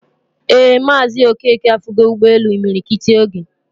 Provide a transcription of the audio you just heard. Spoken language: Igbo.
Ee Mazi Okeke afugo Ugbe elu imiri kiti ogee